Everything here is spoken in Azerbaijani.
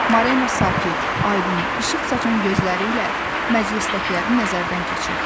Mareana sakit, aydın, işıq saçan gözləri ilə məclisdəkiləri nəzərdən keçirdi.